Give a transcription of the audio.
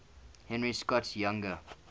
henry scott's younger